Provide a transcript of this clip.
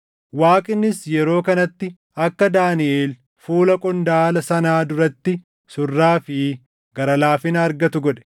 Waaqnis yeroo kanatti akka Daaniʼel fuula qondaala sanaa duratti surraa fi gara laafina argatu godhe;